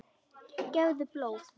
Gefðu blóð.